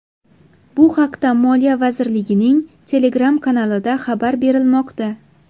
Bu haqda Moliya vazirligining Telegram-kanalida xabar berilmoqda .